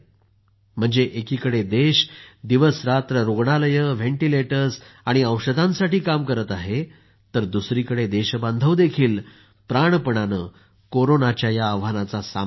म्हणजे एकीकडे देश दिवसरात्र रुग्णालये व्हेंटीलेटर्स आणि औषधांसाठी काम करत आहे तर दुसरीकडे देशबांधव देखील प्राणपणाने कोरोनाच्या या आव्हानाचा सामना करत आहेत